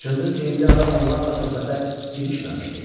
Cındır geyimli adam onlarla söhbətə girişməmişdi.